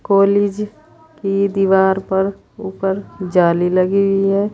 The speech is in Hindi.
कॉलेज की दीवार पर ऊपर जाली लगी हुई है।